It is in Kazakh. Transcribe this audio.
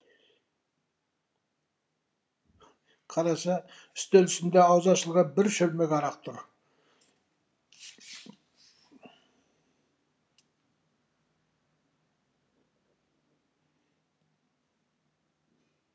қараса үстел үстінде аузы ашылған бір шөлмек арақ тұр